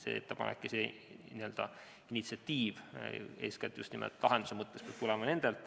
See ettepanek või initsiatiiv, eeskätt just nimelt lahenduse mõttes, peab tulema nendelt.